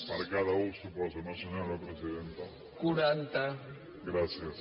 per cada u suposo no senyora presidenta gràcies